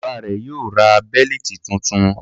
Bàbá rẹ̀ yóò ra bẹ́lítì tuntun.